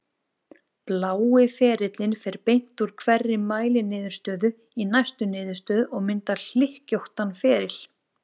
Blái ferillinn fer beint úr hverri mæliniðurstöðu í næstu niðurstöðu og myndar hlykkjóttan feril.